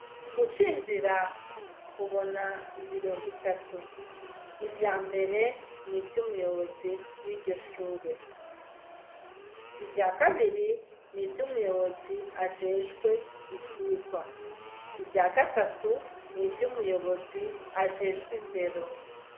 Ucinjira ubona ibiro bitatu. Ivya mbere ni vy'umuyobozi w'iryo shure. Ivya kabiri, ni vy'umuyobozi ajejwe ivyigwa. Ivya gatatu, ni vy'umuyobozi ajejwe indero.